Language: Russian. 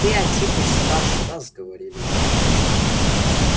ты антипыч старше нас говорили мы